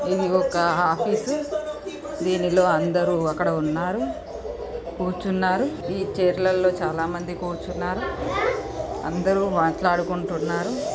ఇది ఒక ఆఫీసు దీనిలో అందరూ అక్కడ ఉన్నారు కూర్చున్నారు ఈ చైర్ లల్లో చాలా మంది కూర్చున్నారు అందరూ మాట్లాడుకుంటున్నారు.